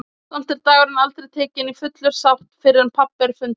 Samt er dagurinn aldrei tekinn í fulla sátt fyrr en pabbi er fundinn.